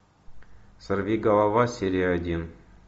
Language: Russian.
сорвиголова серия один